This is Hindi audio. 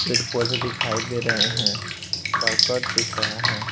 फिर पौधे दिखाई दे रहे हैं करकट दिख रहा है।